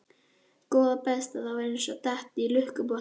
Góða besta. þetta var eins og að detta í lukkupottinn!